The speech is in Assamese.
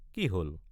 কি হল?